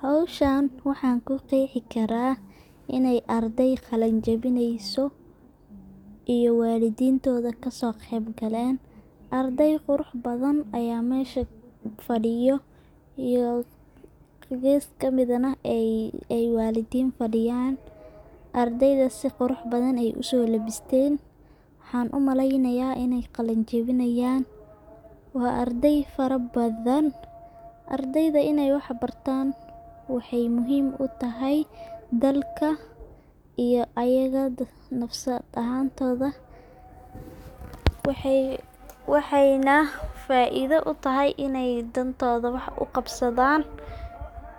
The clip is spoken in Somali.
Howshan waxan ku qexii kara ini arday qalin jabineso iyo walidintoda kaso qeyb galen ,ardey qurux badan aya mesha fadiyo geskodana walidin fadiyan .Ardayda si qurux badan ayey uso labisten waxan u maleynaya iney qalin jawi nayan waa arday fara badan, ardayda iney wax bartan waxey muhim u tahay dalka iyo ayaga nafsad ahantoda waxeyna faido u tahay iney dantoda wax u qabsadan